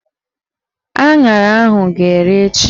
Aṅara ahụ ga-ere echi